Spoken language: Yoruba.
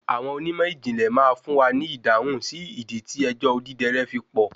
Àwọn onímọ̀ ìjìnlè má fún wa ni ìdáhùn sí ìdí tí ẹjọ́ Odidẹrẹ́ fi pọ̀.